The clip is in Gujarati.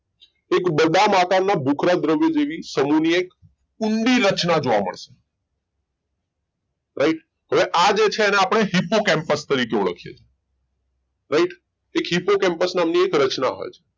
એક બદામ આકાર ના ભૂખરા દ્રવ્ય જેવી સૌથી ઊંડી રચના જોવા મળશે right આ છે એને આપણ hipocompus તરીકે ઓળખી એ છીએ right એક hipocompus નામ ની રચના હોય છે